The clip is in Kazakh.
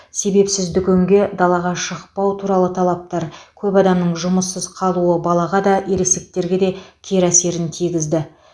себепсіз дүкенге далаға шықпау туралы талаптар көп адамның жұмыссыз қалуы балаға да ересектерге де кері әсерін тигізді